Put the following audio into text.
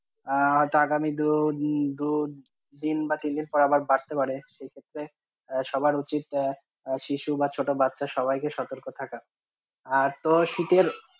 আ হয়তো আগামী দু দিন~ দু দিন বা তিন দিন পর আবার বাড়তে পারে সেই ক্ষেত্রে সবার উচিত এ শিশু বাচ্চা বা ছোট বাচ্চা সবাই কে সতর্ক থাকা আর তোর শীতের,